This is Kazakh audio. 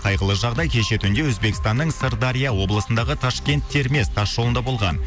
қайғылы жағдай кеше түнде өзбекстанның сырдария облысындағы ташкент кермес тас жолында болған